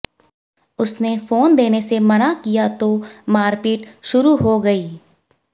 उसने फोन देने से मना किया तो मारपीट शुरू हो गई